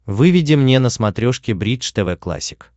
выведи мне на смотрешке бридж тв классик